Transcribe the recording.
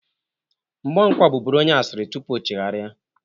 Mgbọnkwọ bụbụrụ onye asịrị tupu ochegharia.